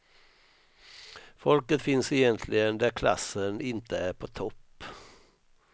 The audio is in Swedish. Folket finns egentligen där klassen inte är på topp.